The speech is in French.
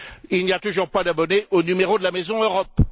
Il n'y a toujours pas d'abonné au numéro de la maison Europe.